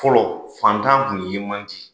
Fɔlɔ fantan kun ye man di.